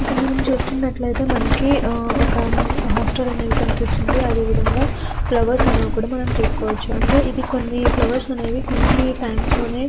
ఇక్కడ మనం చుసుకునాటు అయతె మనకి ఒక హాస్టల్ అనేది కనిపిస్తుంది అదే విధంగా ఫ్లవర్స్ అనేవి కూడా మనం చుసుకోవాచు అంటే ఈ ఫ్లవర్స్ అనేది కొన్ని టైమ్స్ లనే--